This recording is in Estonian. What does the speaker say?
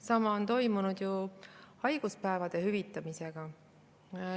Sama on toimunud ju haiguspäevade hüvitamisega.